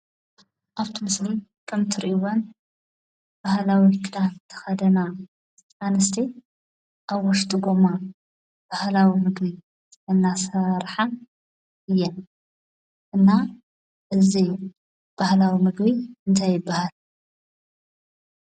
ኣብቲ ምስሊ ከምትርእይወን ባህላዊ ክዳን ዝተኸደና ኣንስቲ ኣብ ውሽጢ ጎማ ባህላዊ ምግቢ እናሰርሓ እየን። እና እዙይ ባህላዊ ምግቢ እንታይ ይበሃል?